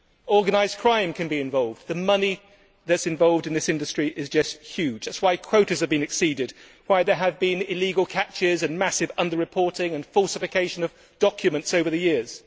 Organised crime may be involved, as the money that is involved in this industry is just huge. That is why quotas are being exceeded, why there have been illegal catches and cases of massive under reporting and falsification of documents over the years.